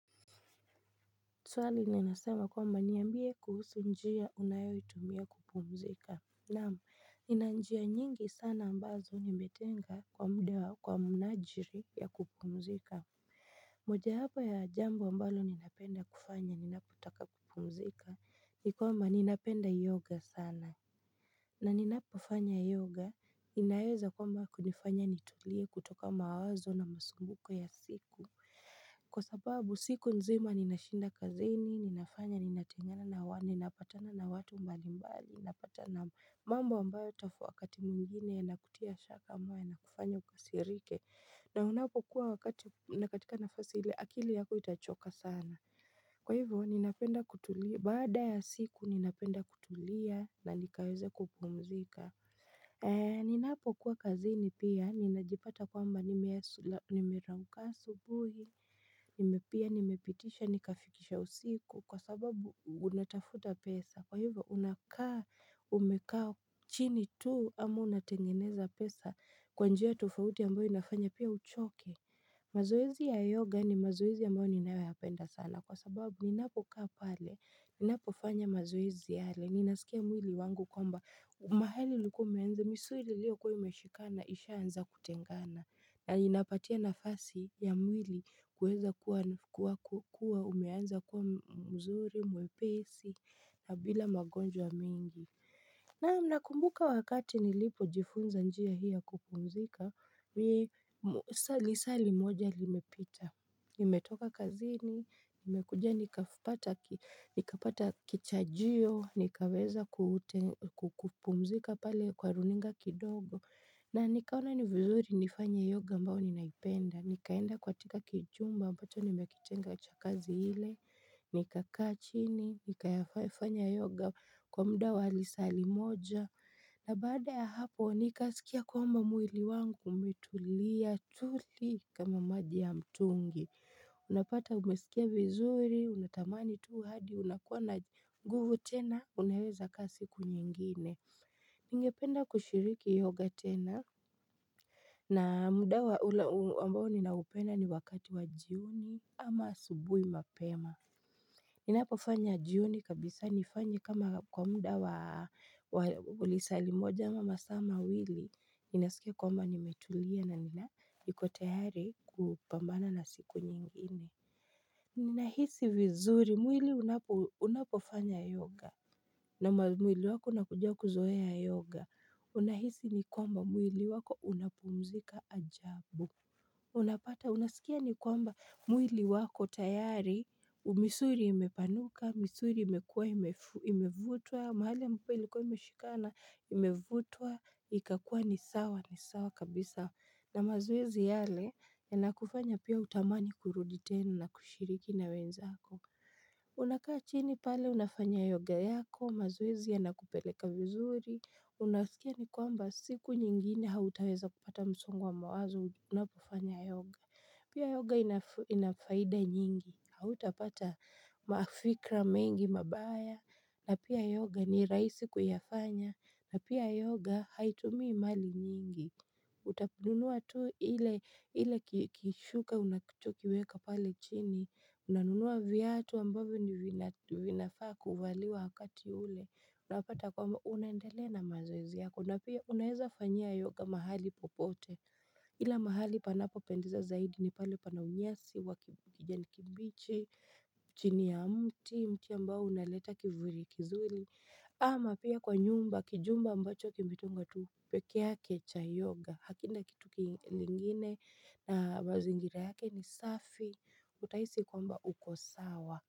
Swali ninasema kwamba niambie kuhusu njia unayo itumia kupumzika Naam, nina njia nyingi sana ambazo nimetenga kwa mda wa kwa mnajili ya kupumzika moja hapa ya jambo ambalo ninapenda kufanya ninaputaka kupumzika nikwamba ninapenda yoga sana na ninapofanya yoga inaweza kwamba kunifanya nitulie kutoka mawazo na masumbuko ya siku Kwa sababu siku nzima ninashinda kazini, ninafanya, ninatingana na wani, napatana na watu mbali mbali, napatana mambo ambayo tafu wakati mwingine na kutia shaka ambayo yana kufanya ukasirike na unapo kuwa wakati na katika nafasi hile akili yako itachoka sana Kwa hivyo, baada ya siku ninapenda kutulia na nikaweza kupumzika Eee, ninapo kuwa kazini pia, ninajipata kwamba nimerauka asubuhi, nimepia nimepitisha, nikafikisha usiku, kwa sababu unatafuta pesa, kwa hivyo unakaa umekaa chini tuu, ama unatengeneza pesa kwanjia tufauti ambayo inafanya pia uchoke. Mazoezi ya yoga ni mazoezi ambayo ninayo yapenda sana kwa sababu ni napo kaa pale Ninapo fanya mazoezi yale, ninaskia mwili wangu kwamba mahali ilikuwa umekuwa, misuli ilio kuwa umeshikana, isha anza kutengana na inapatia nafasi ya mwili kueza kuwa kuwa umeanza kuwa mzuri, mwepesi na bila magonjwa mingi Naam, nakumbuka wakati nilipo jifunza njia hii ya kupumzika, nisali sali moja limepita, nimetoka kazini, nimekuja nikapata kichajiyo, nikaweza kupumzika pale kwa runinga kidogo, na nikaona ni vizuri nifanye yoga ambao ninaipenda. Nikaenda katika kichumba ambacho nimekitenga cha kazi hile. Nika kaa chini, nika fanya yoga kwa mda wa lisali moja. Na baada ya hapo, nika skia kwamba mwili wangu umetulia tuli kama maji ya mtungi. Unapata umesikia vizuri, unatamani tuu hadi, unakuwa na nguvu tena, uneweza kazi kunyengine. Ningependa kushiriki yoga tena na mda wa ambao ninaupenda ni wakati wa jioni ama asubuhi mapema Ninapofanya jioni kabisa nifanyi kama kwa mda wa lisali moja ama masama mawili Ninasikia kwamba nimetulia na nina nikotayari kupambana na siku nyingine Ninahisi vizuri mwili unapofanya yoga na mwili wako unakujia kuzoea yoga, unahisi ni kwamba mwili wako unapumzika ajabu. Unapata, unasikia ni kwamba mwili wako tayari, misuli imepanuka, misuri imekuwa imevutwa, mahali mpeli kwa imeshikana imevutwa, ikakua ni sawa, ni sawa kabisa. Na mazoezi yale, ya inakufanya pia utamani kurudi tena na kushiriki na wenzako. Unakaa chini pale unafanya yoga yako mazoezi yana kupeleka vizuri Unasikia ni kwamba siku nyingine hautaweza kupata msongo wa mawazo unapofanya yoga Pia yoga inafaida nyingi Hautapata maafikra mengi mabaya na pia yoga ni raisi kuyafanya na pia yoga haitumii mali nyingi Uta nunua tu hile kishuka unacho tu kiweka pale chini Unanunua viatu ambavyo vinafaa kuwaliwa wakati ule Unapata kwamba unendelea na mazoezi yako na pia unaweza fanya yoga mahali popote Ila mahali panapo pendeza zaidi ni pale pana unyasi Wakijani kibichi, chini ya mti, mti ambao unaleta kivuli kizuli ama pia kwa nyumba, kijumba ambacho kimitengwa tu pekeyake cha yoga hakina kitu kingine na mazingira yake ni safi Utahisi kwamba uko sawa.